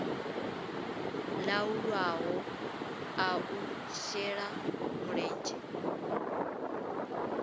laulwaho a u shela mulenzhe